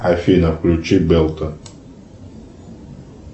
афина включи белто